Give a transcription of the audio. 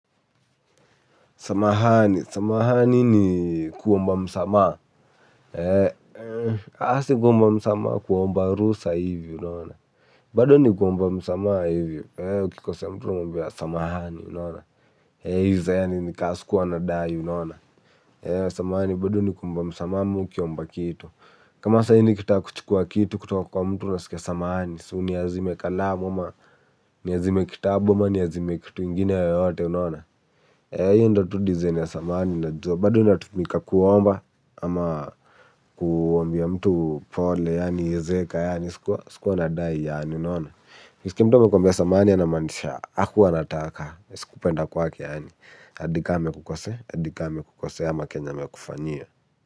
Samahani, samahani ni kuomba msamaha, aaah si kuomba msamaha kuomba ruhusa hivyo unaona. Bado ni kuomba msamaha hivyo, ukikosea mtu unamwambia samahani unaona iza yaani ni ka sikuwa nadai unaona. Samahani bado ni kuomba msamaha ama ukiomba kitu. Kama sahii nikitaka kuchukua kitu kutoka kwa mtu unasikia samahani. Si uniazime kalamu ama, niazime kitabu ama, niazime kitu ingine yoyote unona. Hizo ndo tu design ya samani unajua bado inatumika kuomba, ama kuambia mtu pole, yaani, zeeka, yaani, sikuwa nadai, yaani, unaona. Ukiskia mtu anakuambia samahani anamaanisha, hakuwa anataka, si kupenda kwake, yaani, hadi ka amekukosea hadi ka amekukosea, ama kenye amekufanyia.